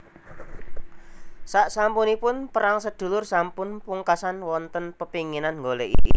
Saksampunipun perang sedulur sampun pungkasan wonten pepinginan nggoleki